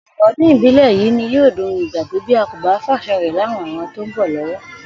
Ò̩pò̩lo̩pò̩ o̩dún ibile yìí ni yóò dohun ìgbàgbé bí a kò bá fàṣà rè̩ láwọn ìran tó ń bò̩ ló̩wó̩